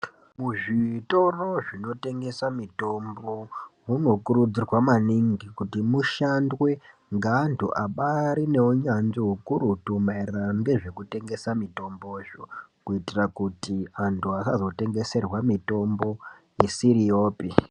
Muzvitoro zvinotengesa mitombo munokurudzirwa maningi kuti mushandwe ngeandu ambaari neunyanzvi hurutu maererano ngezvekutengesa mitombozvo. Kuitira kuti andu asazotengeserwa mitombo isiriyopi.